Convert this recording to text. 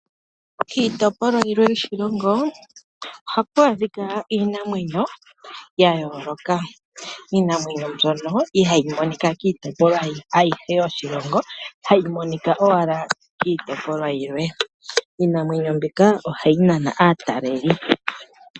Kiitopolwa yimwe yoshilongo ohaku adhika iinamwenyo ya yoloka. Iinamwenyo mbyono ihayi monika kiitopolwa ayihe yodhilongo hayi monika owala kiitopolwa yimwe, iinamwenyo mbika ohayi nana aatalelipo.